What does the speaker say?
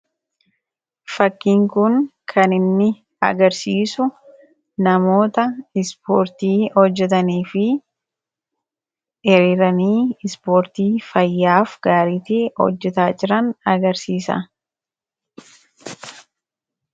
Fakkiin kun kan inni agarsiisu namoota ispoortii hojjatanii fi hiriiranii ispoortii fayyaaf hojjataa jiran agarsiisa.